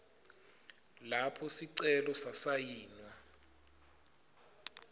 lapho sicelo sasayinwa